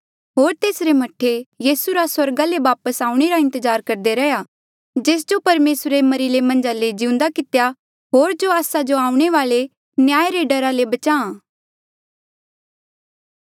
होर तेसरे मह्ठे यीसू रा स्वर्गा ले वापस आऊणें रा इंतजार करदे रैहया जेस जो परमेसरे मरिरे मन्झा ले जिउंदा कितेया होर जो आस्सा जो आऊणें वाले न्याय रे डरा ले बचाहां